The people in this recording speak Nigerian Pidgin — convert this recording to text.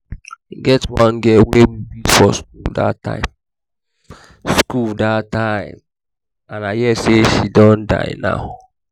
e get one girl wey we beat for school dat time school dat time and i hear say she don die now